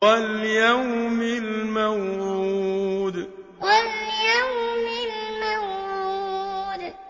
وَالْيَوْمِ الْمَوْعُودِ وَالْيَوْمِ الْمَوْعُودِ